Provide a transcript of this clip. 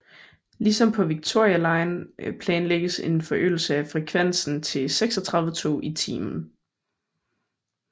Ligesom på Victoria line planlægges en forøgelse af frekvensen til 36 tog i timen